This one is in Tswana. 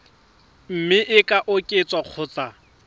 mme e ka oketswa kgotsa